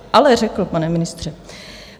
Ale řekl, pane ministře!